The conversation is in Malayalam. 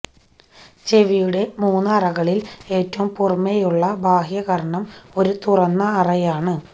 ചെവിയുടെ മൂന്ന് അറകളിൽ ഏറ്റവും പുറമെയുള്ള ബാഹ്യകർണം ഒരു തുറന്ന അറയാണ്